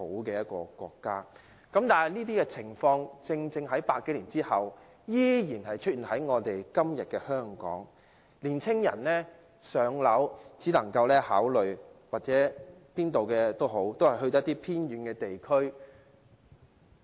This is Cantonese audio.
然而，書中所述的情況正正在100多年之後現今的香港出現，青年人如要"上車"，能夠考慮的只有一些偏遠地區。